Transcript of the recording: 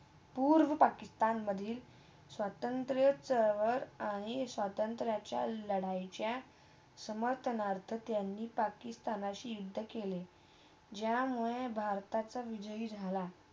पूर्व पाकिस्तानमधे स्वतंत्रचा अहळ आणि स्वतंत्रच्या लढईच्या संपतनर्तक त्यांनी पाकिस्तानशी युद्ध केले. ज्यामुळे भारताच्या विजय झाला.